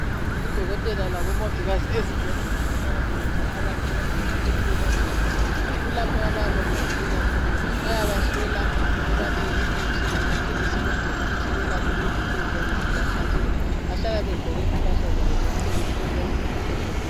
Odokotela labomongikazi ezibhedlela bahlala belinde abantu ukwenzela ukuthi bebancedise, kulapho abayabe besilela khona, bayabahlola, bebanike imithi lamaphilisi ukwenzela ukuthi belaphe izifo eziyabe zibahlasela, bahlala begqoke impahla zabo zomsebenzi eziyabe zimhlophe nke.